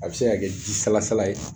A bɛ se ka kɛ ji salasala ye